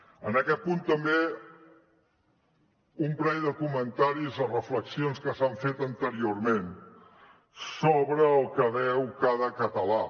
en aquest punt també un parell de comentaris o reflexions que s’han fet anteriorment sobre el que deu cada català